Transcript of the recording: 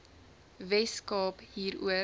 wes kaap hieroor